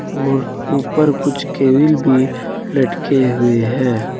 और ऊपर कुछ केबिल भी लटके हुए हैं।